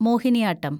Mohiniyattam